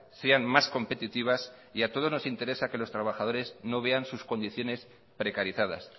sean más competitivas y a todos nos interesa que los trabajadores no vean sus condiciones precarizadas